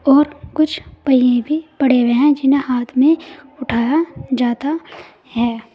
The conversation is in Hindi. और कुछ पहिए भी पड़े हुए हैं जिन्हें हाथ में उठाया जाता है।